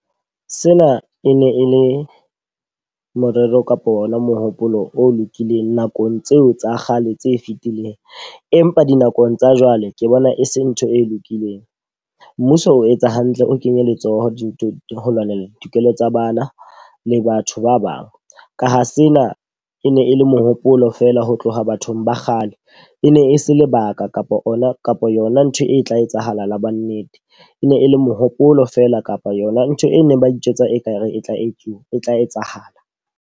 Sena e ne e le morero kapo ona mohopolo o lokileng nakong tseo tsa kgale tse fitileng. Empa dinakong tsa jwale ke bona e se ntho e lokileng. Mmuso o etsa hantle o kenye letsoho dintho ho lwanela ditokelo tsa bana le batho ba bang. Ka ho sena e ne e le mohopolo feela ho tloha bathong ba kgale. E ne e se lebaka kapa ona kapa yona ntho e tla etsahala la bo nnete. E ne e le mohopolo fela kapa yona ntho e neng ba itjwetsa e ka re e tla etsuwa e tla etsahala.